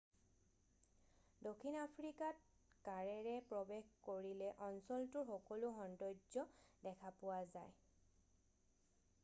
দক্ষিণ আফ্ৰিকাত কাৰেৰে প্ৰৱেশ কৰিলে অঞ্চলটোৰ সকলো সৌন্দৰ্য দেখা পোৱা যায় আৰু